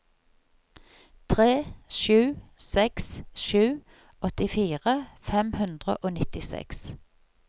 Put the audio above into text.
tre sju seks sju åttifire fem hundre og nittiseks